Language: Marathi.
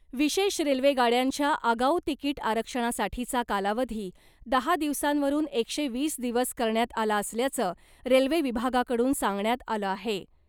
विशेष रेल्वे गाड्यांच्या आगाऊ तिकीट आरक्षणासाठीचा कालावधी , दहा दिवसांवरून एकशे वीस दिवस करण्यात आला असल्याचं , रेल्वे विभागाकडून सांगण्यात आलं आहे .